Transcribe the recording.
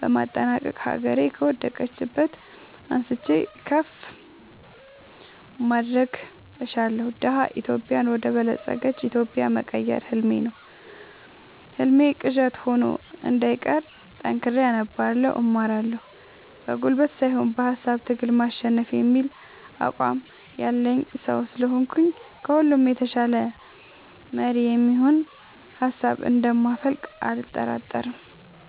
በማጠናቀቅ ሀገሬ ከወደቀችበት አንስቼ ከፍ ማድረግ እሻለሁ። ደሀ ኢትዮጵያን ወደ በለፀገች ኢትዮጵያ መቀየር ህልሜ ነው ህልሜ ቅዠት ሆኖ እንዳይቀር ጠንክሬ አነባለሁ እማራለሁ። በጉልበት ሳይሆን በሃሳብ ትግል ማሸነፍ የሚል አቋም ያለኝ ሰው ስለሆንኩኝ ከሁሉ የተሻለ መሪ የሚሆን ሀሳብ እንደ ማፈልቅ አልጠራጠርም።